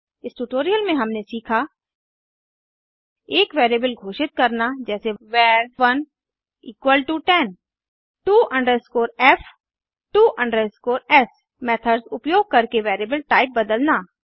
इस टुटोरिअल में हमने सीखा एक वेरिएबल घोषित करना जैसे var 1 10 to f to s methods उपयोग करके वेरिएबल टाइप बदलना